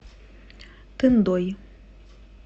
тындой